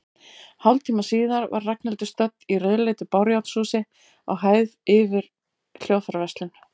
Hálftíma síðar var Ragnhildur stödd í rauðleitu bárujárnshúsi, á hæð yfir hljóðfæraverslun.